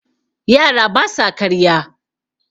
yara ba sa karya